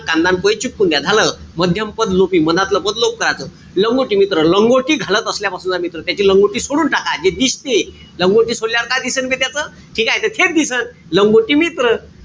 कांदा न पोहे चिपकून द्या. झालं. मध्यम पद लोपी, मधातल पद कराच. लंगोटी मित्र. लंगोटी घालत असल्यापासूनचा मित्र. त्याची लंगोटी सोडून टाका. जे दिसते लंगोटी सोडल्यावर काय दिसेन बे त्याच? ठीकेय? त थेट दिसंन. लंगोटी मित्र.